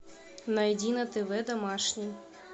найди на тв домашний